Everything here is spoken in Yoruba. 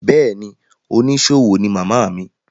Bẹ́ẹ̀ ni, oníṣòwò ní màmá mi.